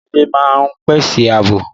Ilé máa ń pèsè àbò